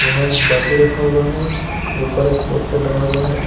यहां एक बाल्टी रखा हुआ है ऊपर एक पोस्टर लगा हुआ है।